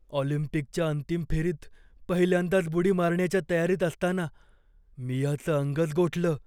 ऑलिम्पिकच्या अंतिम फेरीत पहिल्यांदाच बुडी मारण्याच्या तयारीत असताना मियाचं अंगच गोठलं.